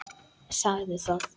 Sagði það.